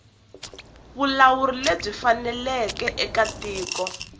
vulawuri lebyi faneleke eka tiko